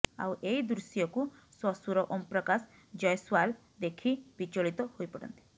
ଆଉ ଏଇ ଦୃଶ୍ୟକୁ ଶ୍ୱଶୂର ଓମ୍ପ୍ରକାଶ ଜୟସ୍ୱୱାଲ ଦେଖି ବିଚଳିତ ହୋଇପଡନ୍ତି